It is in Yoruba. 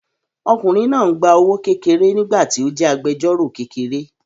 Ọkùnrin náà ń gba owó kékeré nígbà tí ó jẹ́ agbẹjọ́rọ̀ kékeré